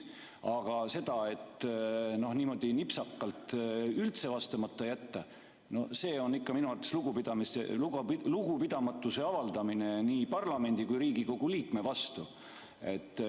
Aga et niimoodi nipsakalt üldse vastamata jätta, see on ikka minu arvates lugupidamatuse avaldamine nii parlamendi kui Riigikogu liikme vastu.